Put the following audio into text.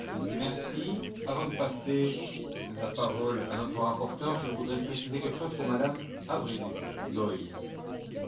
Avant de passer la parole à notre rapporteure, je voudrais préciser quelque chose pour Mme Avril Doyle.